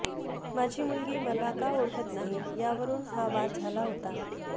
माझी मुलगी मला का ओळखत नाही यावरून हा वाद झाला होता